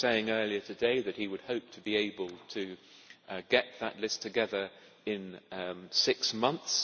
He was saying earlier today that he would hope to be able to get that list together in six months.